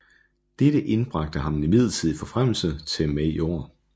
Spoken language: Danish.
Dette indbragte ham en midlertidig forfremmelse til major